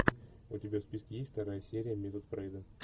у тебя в списке есть вторая серия метод фрейда